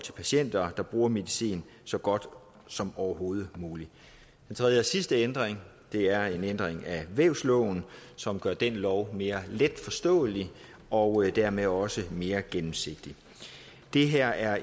for patienter der bruger medicin så godt som overhovedet muligt den tredje og sidste ændring er en ændring af vævsloven som gør den lov mere letforståelig og dermed også mere gennemsigtig det her er